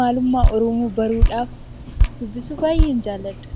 maalummaa oromoo baruudhaaf dubbisuu baayyeen jaalladha.